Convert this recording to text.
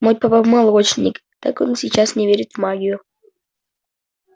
мой папа молочник так он и сейчас не верит в магию